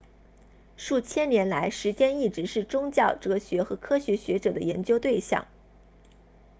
数千年来时间一直是宗教哲学和科学学者的研究对象